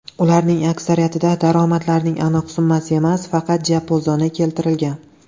Ularning aksariyatida daromadlarning aniq summasi emas, faqat diapazoni keltirilgan.